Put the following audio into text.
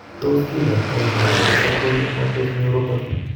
Tos kikoitoo multifocal motor neuropathy